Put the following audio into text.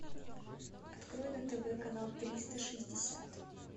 открой на тв канал триста шестьдесят